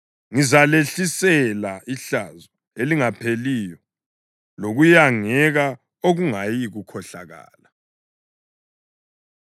Ngizalehlisela ihlazo elingapheliyo lokuyangeka okungayikukhohlakala.”